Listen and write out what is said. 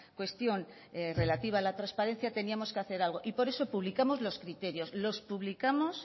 cuestión relativa a la transparencia teníamos que hacer algo y por eso publicamos los criterios los publicamos